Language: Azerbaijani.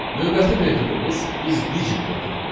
Növbəti metodumuz is_digit metodudur.